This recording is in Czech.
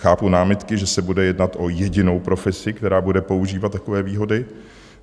Chápu námitky, že se bude jednat o jedinou profesi, která bude používat takové výhody.